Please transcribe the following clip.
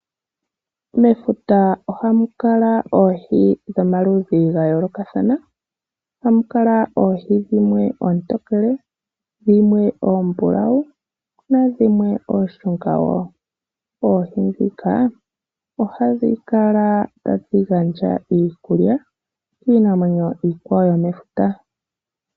Mefuta ohamu kala oohi dhomaludhi ga yoolokathana. Ohamu kala oohi dhimwe oontokele ,dhimwe oombulawu naadhimwe oonshunga woo. Oohi ndhika ohadhi kala tadhi gandja iikulya kiinamwenyo iikwawo yomefuta.